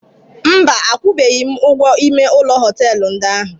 Mba, akwụbeghị m ụgwọ ime ụlọ họtelu ndị ahụ.